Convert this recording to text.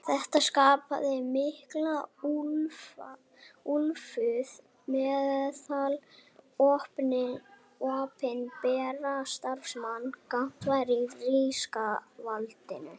Þetta skapaði mikla úlfúð meðal opinberra starfsmanna gagnvart ríkisvaldinu.